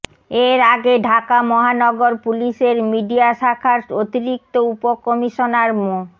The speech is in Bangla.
এর আগে ঢাকা মহানগর পুলিশের মিডিয়া শাখার অতিরিক্ত উপকমিশনার মো